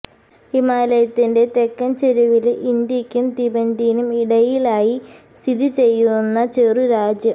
ഹിമാലയത്തിന്റെ തെക്കന് ചെരുവില് ഇന്ത്യക്കും തിബറ്റിനും ഇടയിലായി സ്ഥിതിചെയ്യുന്ന ചെറു രാജ്യം